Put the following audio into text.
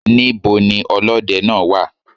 Níbo ni olódẹ náà wà?